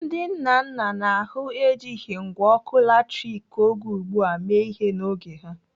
Ndị nna nna n'ahụ ejighị ngwá ọkụ latrik oge ugbu a mee ihe n'oge ha.